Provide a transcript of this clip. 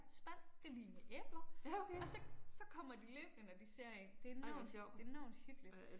Spand det lig med æbler og så så kommer de løbende når de ser én. Det enormt det enormt hyggeligt